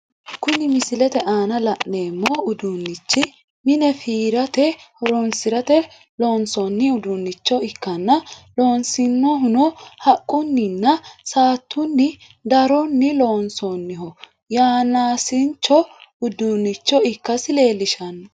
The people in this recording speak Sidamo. Kunni misilete aanna la'neemo uduunichi mine fiirate horoonsirate loonsoonni uduunicho ikkanna loonsoonnihuno haqunninna saatu daronnni loonsooniho yanaasincho uduunicho ikasi leelishano.